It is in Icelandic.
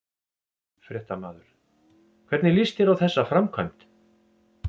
Fréttamaður: Hvernig líst þér á þessa framkvæmd?